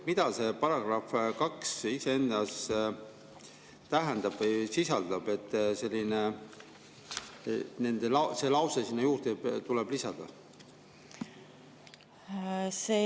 Mida see § 2 iseendast tähendab või sisaldab, et see lause sinna juurde tuleb lisada?